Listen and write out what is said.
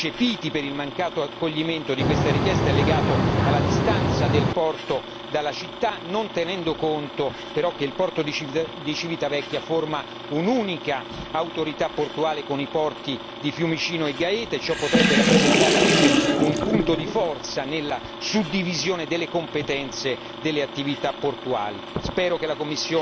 Uno dei motivi eccepiti per il mancato accoglimento di questa richiesta è legato alla distanza del porto dalla città, non tenendo conto però che il porto di Civitavecchia forma un'unica autorità portuale con i porti di Fiumicino e Gaeta, e ciò potrebbe rappresentare invece un punto di forza nella suddivisione delle competenze delle attività portuali.